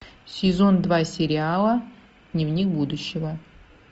сезон два сериала дневник будущего